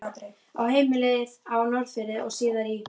Á heimilið á Norðfirði og síðar í